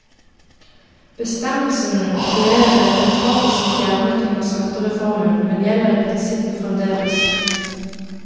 Bestemmelsen ble ved en feiltagelse fjernet under skattereformen, men gjelder i prinsippet fremdeles.